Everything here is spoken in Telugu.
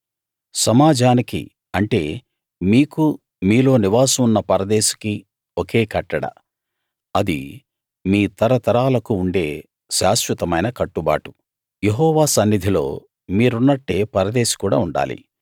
సమాజానికి అంటే మీకూ మీలో నివాసం ఉన్న పరదేశికీ ఒకే కట్టడ అది మీ తరతరాలకు ఉండే శాశ్వతమైన కట్టుబాటు యెహోవా సన్నిధిలో మీరున్నట్టే పరదేశి కూడా ఉండాలి